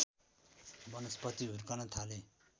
वनस्पति हुर्कन थाले